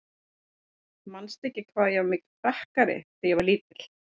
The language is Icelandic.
Manstu ekki hvað ég var mikill prakkari þegar ég var lítil?